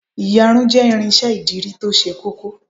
Ìyarun jẹ́ irinsẹ́ ìdirí to se kókó